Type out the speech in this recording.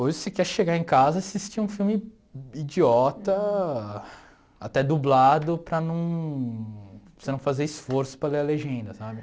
Hoje você quer chegar em casa e assistir um filme idiota, até dublado, para num você não fazer esforço para ler a legenda, sabe?